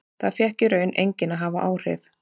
Það fékk í raun enginn að hafa áhrif.